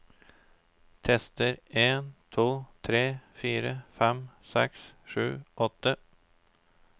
Tester en to tre fire fem seks sju åtte